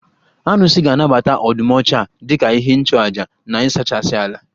Arụsị ga anabata ọdụm ọcha dika ihe nchụaja na ịsachasị ala.